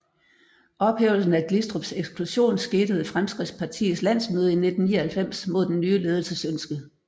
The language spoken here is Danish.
Ophævelsen af Glistrups eksklusion skete ved Fremskridtspartiets landsmøde i 1999 mod den nye ledelses ønske